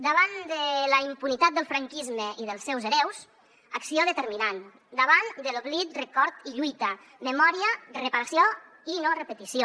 davant de la impunitat del franquisme i dels seus hereus acció determinant davant de l’oblit record i lluita memòria reparació i no repetició